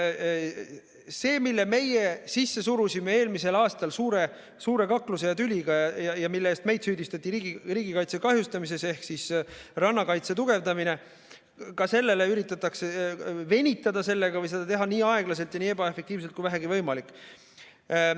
Rannakaitse tugevdamine, mille meie eelmisel aastal suure kakluse ja tüliga sisse surusime ja mille eest meid süüdistati riigikaitse kahjustamises, ka sellega üritatakse venitada või seda teha nii aeglaselt ja nii ebaefektiivselt kui vähegi võimalik.